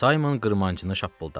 Saymon qırmancını şappıldatdı.